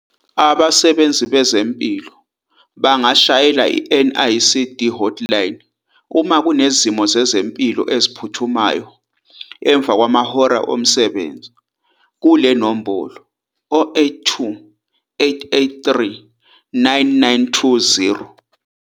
Abasebenzi bezempilo bangashayela i-NICD Hotline uma Kunezimo Zezempilo Eziphuthumayo emva kwamahora omsebenzi kule nombolo- 082 883 9920.